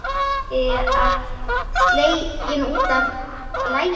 Illa sleginn út af laginu.